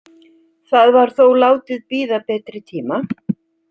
Það var þó látið bíða betri tíma.